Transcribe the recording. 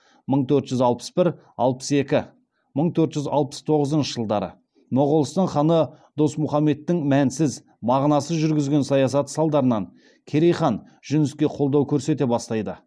мың төрт жүз алпыс бір алпыс екінші мың төрт жүз алпыс тоғызыншы жылдары моғолстан ханы досмұхаммедтің мәнсіз мағынасыз жүргізген саясаты салдарынан керей хан жүніске қолдау көрсете бастайды